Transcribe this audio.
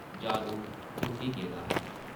जादू त्रुट्टी गेदा हा ।